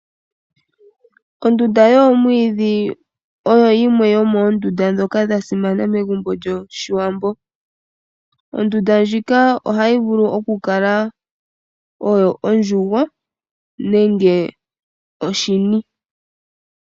Ondunda yomwiidhi oyo yimwe yomoondunda ndjoka ya simana megumbo lyoshiwambo. Ondunda ndjika ohayi vulu okukala oyo ondjugo nenge oshini.